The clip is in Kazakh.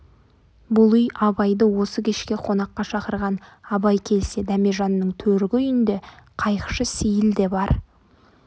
бұл үй абайды осы кешке қонаққа шақырған абай келсе дәмежанның төргі үйінде қайықшы сейіл де бар